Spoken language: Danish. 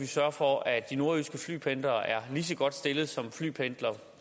sørge for at de nordjyske flypendlere er lige så godt stillet som flypendlere